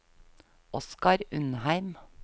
Oskar Undheim